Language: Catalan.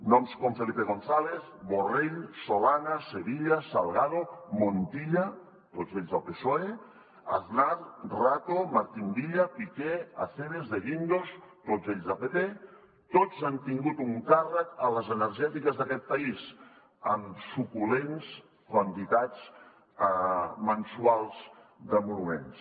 noms com felipe gonzález borrell solana sevilla salgado montilla tots ells del psoe aznar rato martín villa piqué acebes de guindos tots ells del pp tots han tingut un càrrec a les energètiques d’aquest país amb suculents quantitats mensuals d’emoluments